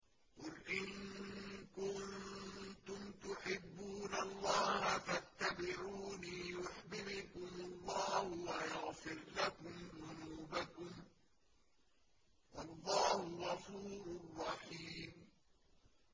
قُلْ إِن كُنتُمْ تُحِبُّونَ اللَّهَ فَاتَّبِعُونِي يُحْبِبْكُمُ اللَّهُ وَيَغْفِرْ لَكُمْ ذُنُوبَكُمْ ۗ وَاللَّهُ غَفُورٌ رَّحِيمٌ